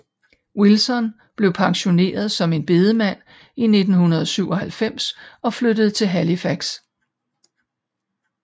Wilson blev pensioneret som en bedemand i 1997 og flyttede til Halifax